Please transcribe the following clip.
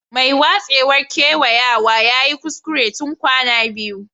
Mai watsewar kewayawa ya yi kuskure tun kwana biyu.